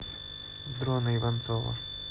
дрона иванцова